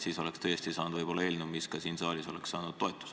Siis oleksime võib-olla tõesti saanud eelnõu, mis ka siin saalis oleks toetust leidnud.